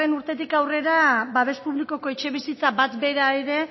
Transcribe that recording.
urtetik aurrera babes publikoko etxebizitza bat bera ere